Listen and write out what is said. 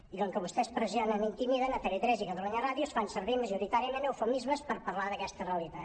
i com que vostès pressionen i intimiden a tv3 i a catalunya ràdio es fan servir majoritàriament eufemismes per parlar d’aquesta realitat